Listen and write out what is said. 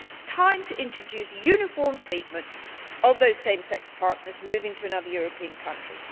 It is time to introduce uniform treatment of those same sex partners moving to another European country.